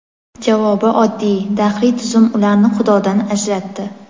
Javobi oddiy: dahriy tuzum ularni xudodan ajratdi.